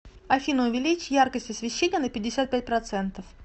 афина увеличь яркость освещения на пятьдесят пять процентов